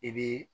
I bi